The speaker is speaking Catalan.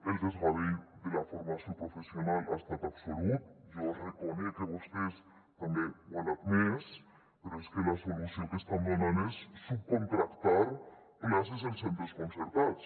el desgavell de la formació professional ha estat absolut jo reconec que vostès també ho han admès però és que la solució que estan donant és subcontractar places en centres concertats